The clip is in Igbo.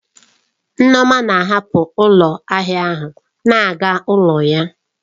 Nneoma na-ahapụ ụlọ ahịa ahịa na-aga n'ụlọ ya.